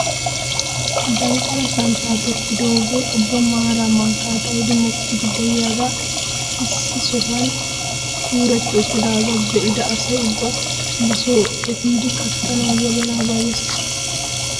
Danqala santtay tokkidoogee ubba maaraa mankkaa xaayidi mokkiidi de'iyaagee issi sohuwaan kuretti uttidagaa be'ida asa ubbay ba soo epiidi kattanawu wozanaa bayyees!